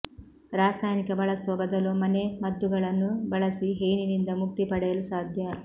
ರಾಸಯನಿಕ ಬಳಸುವ ಬದಲು ಮನೆಮದ್ದುಗಳನ್ನು ಬಳಸಿ ಹೇನಿನಿಂದ ಮುಕ್ತಿ ಪಡೆಯಲು ಸಾಧ್ಯ